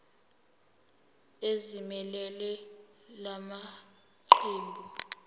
ezimelele la maqembu